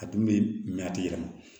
A dun bɛ mɛ a tɛ yɛlɛma